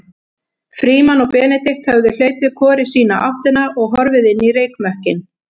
Frímann og Benedikt höfðu hlaupið hvor í sína áttina og horfið inn í reykmökkinn.